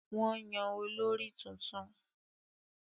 Wọ́n yàn olórí tuntun